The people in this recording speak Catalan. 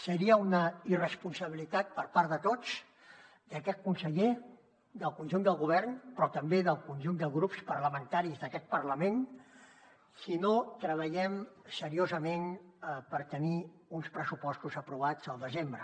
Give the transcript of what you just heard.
seria una irresponsabilitat per part de tots d’aquest conseller del conjunt del govern però també del conjunt de grups parlamentaris d’aquest parlament si no treballem seriosament per tenir uns pressupostos aprovats al desembre